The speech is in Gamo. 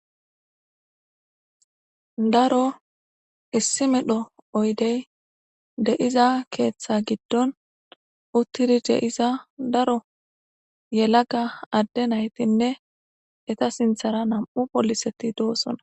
Daro issi medho oydey deiza keeththa giddon uttidi deiza daro yelaga adde naytinne eta sinthara nam'u poliseti doosona.